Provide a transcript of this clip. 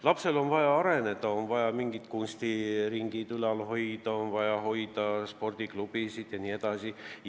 Lapsel on vaja areneda, on vaja kunstiringe ülal pidada, on vaja tegutsemas hoida spordiklubisid jne.